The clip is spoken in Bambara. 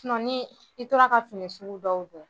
ni i tora ka fini sugu dɔw don